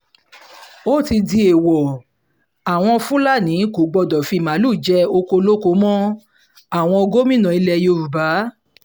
ó ti di èèwọ̀ àwọn fúlàní kò gbọdọ̀ fi màálùú jẹ ọkọ̀ olóko mọ́ o-àwọn gómìnà ilẹ̀ yorùbá